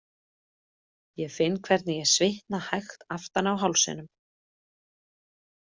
Ég finn hvernig ég svitna hægt aftan á hálsinum.